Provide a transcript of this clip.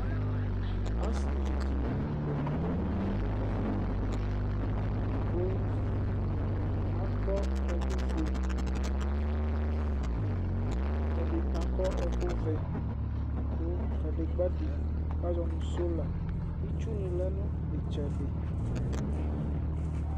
Ɔsɩvɩ dɩ dʊ adeka dɩnɩ ku akɔ ɛkʊ fue, ɛdɩnɩ ɛkʊ vɛ, kʊ kadegba dɩ azɔ nʊ sola Ɩtsʊ nɩ lɛ nʊ itsɛdɩ